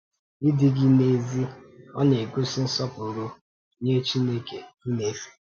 Ịdị gị n’èzí, ọ̀ na-egosi nsọpụrụ nye Chineke i na-efe?